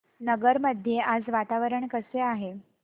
नगर मध्ये आज वातावरण कसे आहे